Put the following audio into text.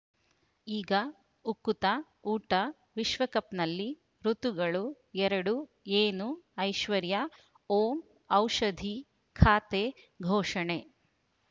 ಈಗ ಉಕುತ ಊಟ ವಿಶ್ವಕಪ್‌ನಲ್ಲಿ ಋತುಗಳು ಎರಡು ಏನು ಐಶ್ವರ್ಯಾ ಓಂ ಔಷಧಿ ಖಾತೆ ಘೋಷಣೆ